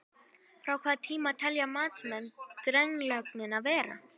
Frá hvaða tíma telja matsmenn drenlögnina vera?